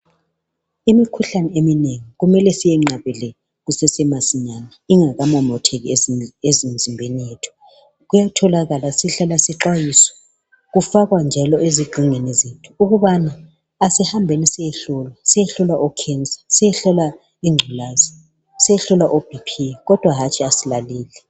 Imikhuhlane eminengi kumele siyenqabele kusesemasinyane ingakamomotheki emizimbeni yethu. Kuyatholakala, sihlala njalo sixhwayiswa kufakwa njalo ezigxingini zethu ukubana asihambeni siyehlolwa ikhensa, siyehlowa ingculaza, siyehlolwa obp, kodwa hatshi asilaleli.